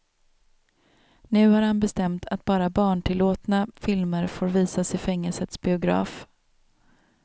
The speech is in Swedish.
Nu har han bestämt att bara barntillåtna filmer får visas i fängelsets biograf.